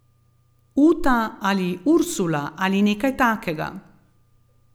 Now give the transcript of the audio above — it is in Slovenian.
Uta ali Ursula ali nekaj takega.